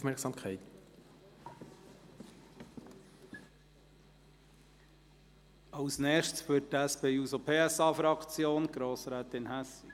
Als Nächste spricht für die SP-JUSO-PSA-Fraktion Grossrätin Hässig.